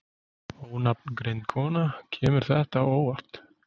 Ónafngreind kona: Kemur þetta þér á óvart?